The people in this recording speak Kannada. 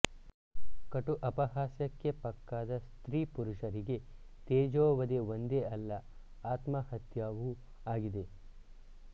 ಕಟು ಅಪಹಾಸ್ಯಕ್ಕೆ ಪಕ್ಕಾದ ಸ್ತ್ರೀ ಪುರುಷರಿಗೆ ತೇಜೋವಧೆ ಒಂದೇ ಅಲ್ಲ ಆತ್ಮಹತ್ಯವೂ ಆಗಿದೆ